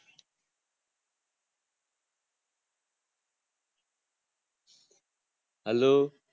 હાલો